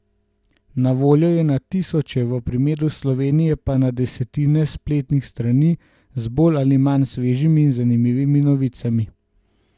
Na voljo je na tisoče, v primeru Slovenije pa na desetine spletnih strani z bolj ali manj svežimi in zanimivimi novicami.